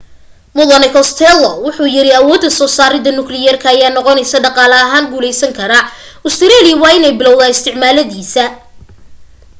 mudane costello wuxuu yiri awooda soo saarida nukliyeerka ay noqoneyso dhaqaale ahaan guuleysan kara australia waa in ay bilowda isticmaalidiisa